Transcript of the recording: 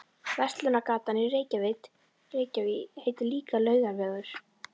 Verslunargatan í Reykjavík heitir líka Laugavegur.